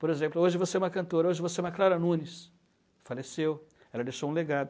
Por exemplo, hoje você é uma cantora, hoje você é uma Clara Nunes, faleceu, ela deixou um legado.